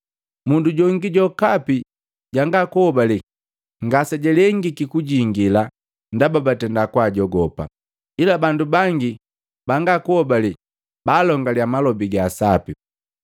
Mundu jongi jokapi janga kuhobale ngase jalengiki kujingila ndaba batenda kwaajogopa, ila bandu bangi bangakuhobale baalongaliya malobi ga sapi.